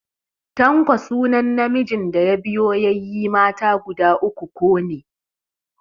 Tanko sunan namijin da ya biyo yayye mata guda uku ko ne.